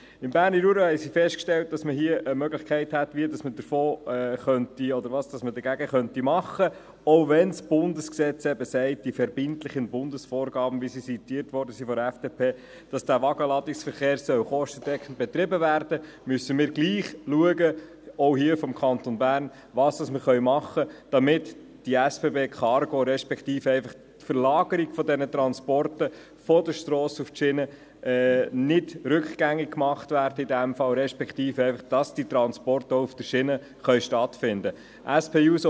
Im Berner Jura stellten sie fest, dass man eine Möglichkeit hätte, etwas dagegen zu tun, auch wenn das Bundesgesetz sagt – die verbindlichen Bundesvorgaben, wie sie von der FDP zitiert wurden –, damit der Wagenladungsverkehr kostendeckend betrieben werden könne, müssten wir gleichwohl, auch seitens des Kantons Bern, schauen, was wir machen können, damit die SBB Cargo, respektive die Verlagerung der Transporte von der Strasse auf die Schiene, in dem Fall nicht rückgängig gemacht wird und die Transporte auch auf der Schiene stattfinden können.